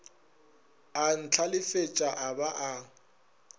a ntlhalefetša a ba a